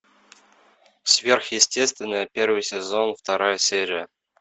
сверхъестественное первый сезон вторая серия